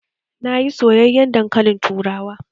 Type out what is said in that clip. Na yi soyayyen dankalin turawa